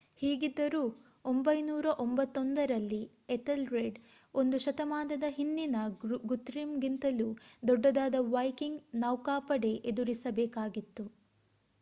ಹೀಗಿದ್ದರೂ 991 ರಲ್ಲಿ ಎಥಲ್ರೆಡ್ ಒಂದು ಶತಮಾನದ ಹಿಂದಿನ ಗುತೃಮ್ ಗಿಂತಲೂ ದೊಡ್ಡದಾದ ವೈಕಿಂಗ್ ನೌಕಾಪಡೆ ಎದುರಿಸ ಬೇಕಾಗಿತ್ತು